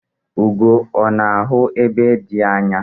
Ugo ọ̀ na-ahụ ebe dị anya?